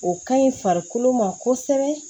O ka ɲi farikolo ma kosɛbɛ